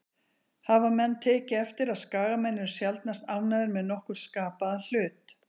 Hafa menn tekið eftir að Skagamenn eru sjaldnast ánægðir með nokkurn skapaðan hlut?